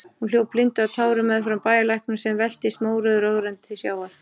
Hún hljóp blinduð af tárum meðfram bæjarlæknum, sem veltist mórauður og ögrandi til sjávar.